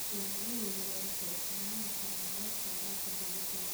Beeralayda yaryari waxay isticmaali karaan hababka waraabka dhibicda.